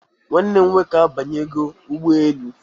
Nwanne m nwoke abanyego ụgbọelu